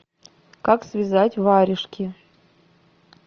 как связать варежки